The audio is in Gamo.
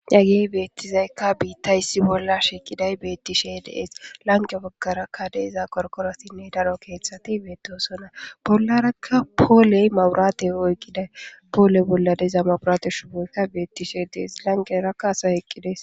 Hagey beettizaykka biitta yssi bolla shiqiday beettishe dees lanqe baggarakka deeza korkorosinne daro keeththati beettosona bollarakka pooley mawuraate oyqqiday pooley bolla deza mawuraate shuumaykka beettishe dees lanqerakka asay eqqides